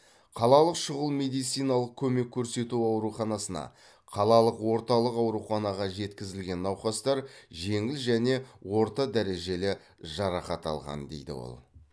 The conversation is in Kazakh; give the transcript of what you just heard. қалалық шұғыл медициналық көмек көрсету ауруханасына қалалық орталық ауруханаға жеткізілген науқастар жеңіл және орта дәрежелі жарақат алған дейді ол